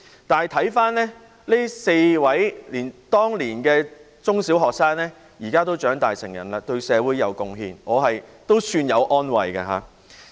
然而，回看這4位當年的中小學生，現時已長大成人，對社會有貢獻，我也感到一點安慰。